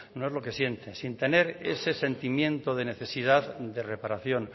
no es lo que siente sin tener ese sentimiento de necesidad de reparación